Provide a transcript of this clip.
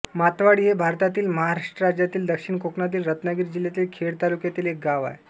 मातवाडी हे भारतातील महाराष्ट्र राज्यातील दक्षिण कोकणातील रत्नागिरी जिल्ह्यातील खेड तालुक्यातील एक गाव आहे